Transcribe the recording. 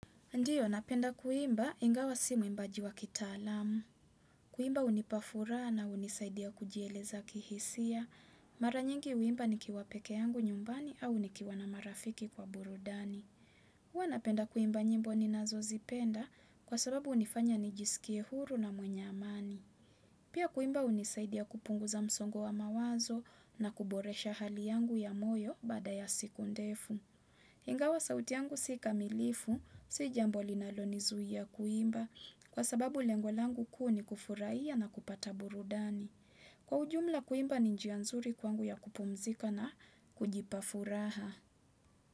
Ndiyo, napenda kuimba, ingawa si mwimbaji wa kitaalamu. Kuimba hunipa furaha na hunisaidia kujieleza kihisia. Mara nyingi huimba nikiwa pekee yangu nyumbani au nikiwa na marafiki kwa burudani. Huwa napenda kuimba nyimbo ninazozipenda kwa sababu hunifanya nijisikie huru na mwenye amani. Pia kuimba hunisaidia kupunguza msongo wa mawazo na kuboresha hali yangu ya moyo baada ya siku ndefu. Ingawa sauti yangu si kamilifu, si jambo linalonizuilia kuimba kwa sababu lengo langu ku ni kufurahia na kupata burudani. Kwa ujumla kuimba ni njia nzuri kwangu ya kupumzika na kujipa furaha.